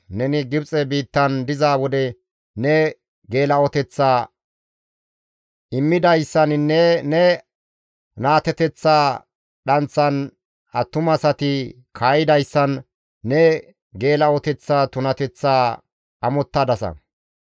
Neni Gibxe biittan diza wode ne geela7oteththaa immidayssaninne ne naateteththa dhanththan attumasati kaa7idayssan ne geela7oteththa tunateththaa amottadasa.